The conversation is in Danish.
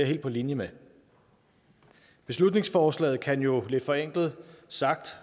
helt på linje med beslutningsforslaget kan jo lidt forenklet sagt